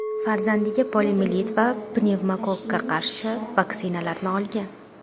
farzandiga poliomiyelit va pnevmokokkga qarshi vaksinalarni olgan.